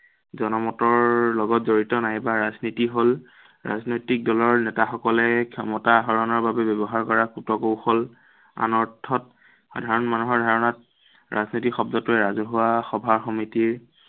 জনমতৰ লগত জড়িত নাইবা ৰাজনীতি হ'ল, ৰাজনৈতিক দলৰ নেতাসকলে ক্ষমতা আহৰণৰ বাবে ব্য়ৱহাৰ কুটকৌশল। আন অৰ্থত সাধাৰণ মানুহৰ ধাৰণাত, ৰাজনীতি শব্দটোৱে ৰাজহুৱা সভা-সমিতিৰ